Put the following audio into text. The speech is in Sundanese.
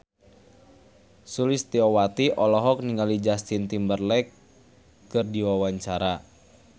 Sulistyowati olohok ningali Justin Timberlake keur diwawancara